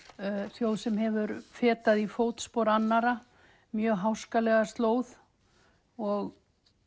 þjóð sem hefur fetað í fótspor annarra mjög háskalega slóð og